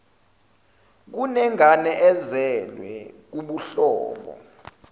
kunengane ezelwe kubuhlobo